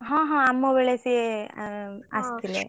ହଁ ହଁ ଆମବେଳେ ସିଏ ଆସିଥିଲେ।